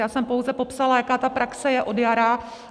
Já jsem pouze popsala, jaká ta praxe je od jara.